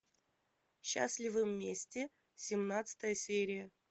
счастливы вместе семнадцатая серия